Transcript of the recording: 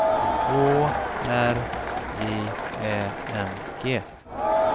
Å R J Ä N G